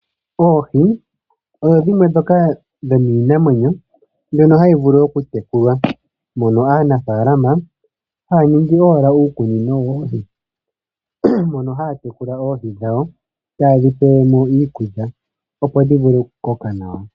Oohi odho dhimwe dhomiinamwenyo mbyono hayi vulu oku tekulwa. Aanafaalama oha ya ningi uukunino mono ha ya tekulile oohi dhawo, ta ye dhi pele mo iikulya, opo dhi vule oku koka nawa.